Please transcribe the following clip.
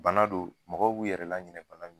Bana don mɔgɔw b'u yɛrɛ laɲina bana min